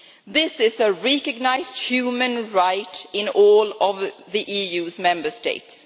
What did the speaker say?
This is a recognised human right in all of the EU's Member States.